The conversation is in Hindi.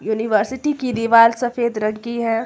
यूनिवर्सिटी की दीवार सफेद रंग की है।